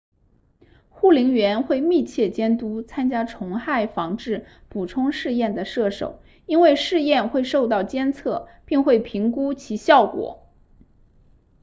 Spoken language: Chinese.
护林员会密切监督参加虫害防治补充试验的射手因为试验会受到监测并会评估其效果